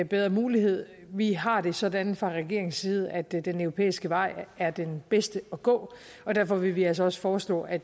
bedre mulighed vi har det sådan fra regeringens side at den europæiske vej er den bedste at gå og derfor vil vi altså også foreslå at